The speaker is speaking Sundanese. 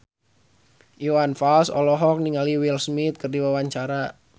Iwan Fals olohok ningali Will Smith keur diwawancara